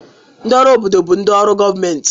Ndị ọrụ obodo bụ ndị ọrụ gọọmentị